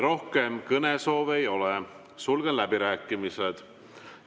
Rohkem kõnesoove ei ole, sulgen läbirääkimised.